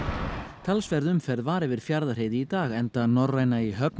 talsverð umferð var yfir Fjarðarheiði og í dag enda Norræna í höfn